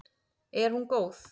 Er hún góð?